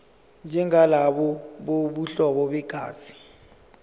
njengalabo bobuhlobo begazi